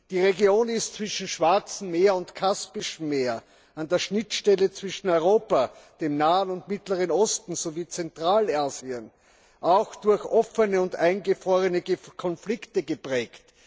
Die Region zwischen Schwarzem Meer und Kaspischem Meer, an der Schnittstelle zwischen Europa, dem Nahen und Mittleren Osten sowie Zentralasien ist auch durch offene und eingefrorene Konflikte geprägt.